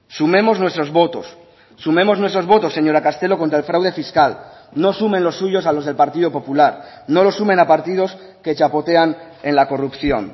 sumemos nuestros votos sumemos nuestros votos señora castelo contra el fraude fiscal no sumen los suyos a los del partido popular no lo sumen a partidos que chapotean en la corrupción